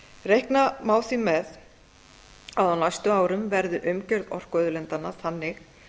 reikna má því með að á næstu árum verði umgjörð orkuauðlindanna þannig